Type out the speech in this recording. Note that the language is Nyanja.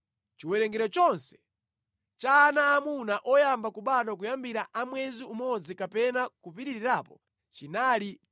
Chiwerengero chonse cha ana aamuna oyamba kubadwa kuyambira a mwezi umodzi kapena kupitirirapo chinali 22, 273.